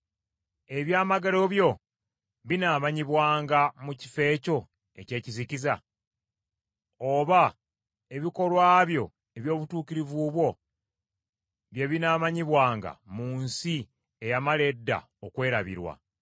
Ebyamagero byo binaamanyibwanga mu kifo ekyo eky’ekizikiza? Oba ebikolwa byo eby’obutuukirivu bwo bye binaamanyibwanga mu nsi eyamala edda okwerabirwa?